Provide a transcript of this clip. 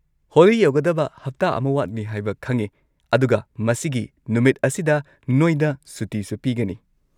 ꯍꯣꯂꯤ ꯌꯧꯒꯗꯕ ꯍꯞꯇꯥ ꯑꯃ ꯋꯥꯠꯂꯤ ꯍꯥꯏꯕ ꯈꯪꯉꯦ, ꯑꯗꯨꯒ ꯃꯁꯤꯒꯤ ꯅꯨꯃꯤꯠ ꯑꯁꯤꯗ ꯅꯣꯏꯗ ꯁꯨꯇꯤꯁꯨ ꯄꯤꯒꯅꯤ꯫